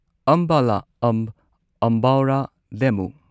ꯑꯝꯕꯥꯂꯥ ꯑꯝꯕ ꯑꯝꯕꯧꯔꯥ ꯗꯦꯃꯨ